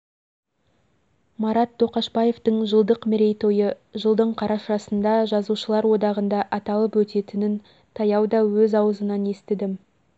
марат тоқашбаевтың жылдық мерейтойы жылдың қарашасында жазушылар одағында аталып өтетінін таяда өз аузынан естідім